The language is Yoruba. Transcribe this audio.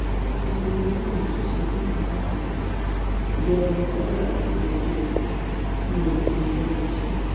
nítorí káwọn òṣìṣẹ lè gba káàdì ìdìbò ìjọba kwara kéde ọjọ etí ní ìsinmi lẹnu iṣẹ